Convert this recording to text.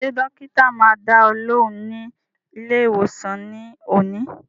Ṣé dọ́kítá máa dá ọ lóhùn ní ilé ìwòsàn ní òní?